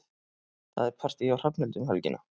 Það er partí hjá Hrafnhildi um helgina.